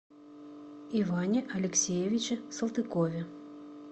иване алексеевиче салтыкове